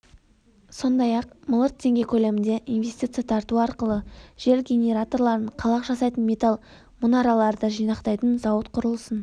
сондай-ақ миллиард теңге көлемінде инвестиция тарту арқылы жел генераторларын қалақ жасайтын металл мұнараларды жинақтайтын зауыт құрылысын